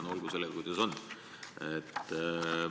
Aga olgu sellega, kuidas on.